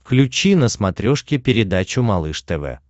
включи на смотрешке передачу малыш тв